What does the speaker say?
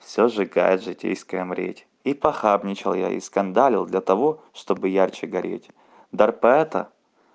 всё сжигает житейская мреть и похабничал я и скандалил для того чтобы ярче гореть дар поэта